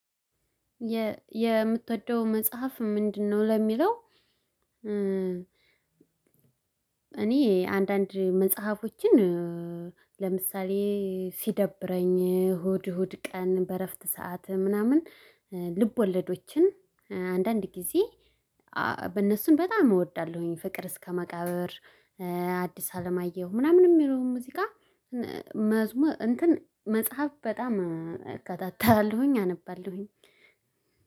የምትወደው መጽሐፍ ምንድነው? ለሚለው እኔ አንዳንድ መጽሐፎችን ለምሳሌ ሲደብረኝ እሁድ እሁድ ቀን በእረፍት ሰዓት ምናምን ልብወለዶችን አንዳንድ ጊዜ በጣም እወዳለሁኝ። ፍቅር እስከ መቃብር ሀዲስ አለማየሁ ምናምን የሚለውን ሙዚቃ። መጽሐፍ በጣም እከታተላለሁኝ አነባለሁኝ።